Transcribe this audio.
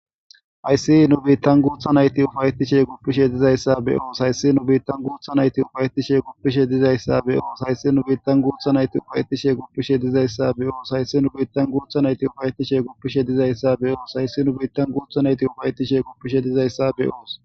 Hayssi nu biittan guotha nayti ufayetishe guppishe dizayssa be oos hayssi nu biittan guotha nayti ufayetishe guppishe dizayssa be oos hayssi nu biittan gootha nayti ufayettishe guppishe dizayssa be oos hayssi nu biittan gootha nayti ufayetishe guppishe dizayssa be oos hayssi nu biittan guotha nayti ufayetishe guppishe dizayssa be'oos.